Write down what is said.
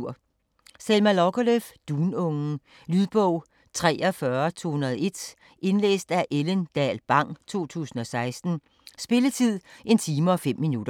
Lagerlöf, Selma: Dunungen Lydbog 43201 Indlæst af Ellen Dahl Bang, 2016. Spilletid: 1 time, 5 minutter.